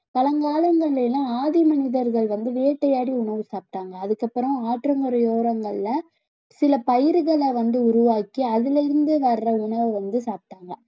பழங்காலங்கள்ல எல்லாம் ஆதிமனிதர்கள் வந்து வேட்டையாடி உணவு சாப்பிட்டாங்க அதுக்கப்புறம் ஆற்றங்கரை ஓரங்கள்ல சில பயிர்களை வந்து உருவாக்கி அதில இருந்து வர்ற உணவை வந்து சாப்பிட்டாங்க